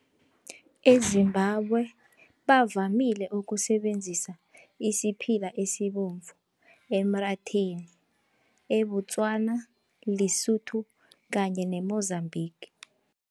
EZimbabwe bavamile ukusebenzisa isiphila esibovu emratheni, eBotswana, Lesotho kanye ne-Mozambique.